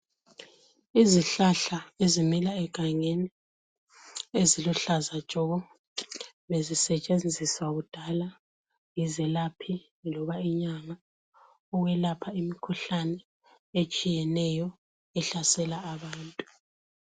Izihlahla ezimila egangeni eziluhlaza tshoko bezisetshenziswa kudala yizelaphi loba inyanga ukwelapha imikhuhlane etshiyeneyo ehlasela abantu.